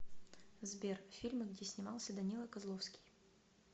сбер фильмы где снимался данила козловский